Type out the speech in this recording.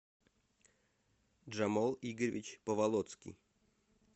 джамул игоревич поволоцкий